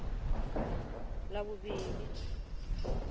ḽavhuvhili